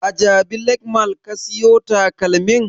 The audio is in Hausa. A jabi lake mall ka siyo takalmin?